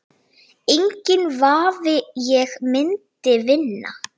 Enginn vafi, ég myndi vinna